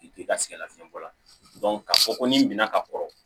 i ka sɛgɛn lafiɲɛn bɔ la ka fɔ ko n'i minɛna ka kɔrɔ